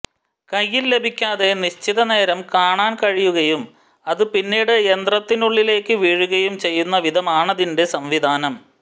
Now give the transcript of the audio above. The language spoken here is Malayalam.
കയ്യിൽ ലഭിക്കാതെ നിശ്ചിത നേരം കാണാൻ കഴിയുകയും അത് പിന്നീട് യന്ത്രത്തിനുള്ളിലേയ്ക്ക് വീഴുകയും ചെയ്യുന്ന വിധമാണിതിന്റെ സംവിധാനം